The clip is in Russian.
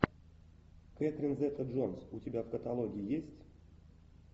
кэтрин зета джонс у тебя в каталоге есть